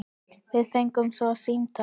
Við fengum svo símtal.